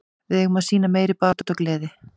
Við eigum að sýna meiri baráttu og gleði.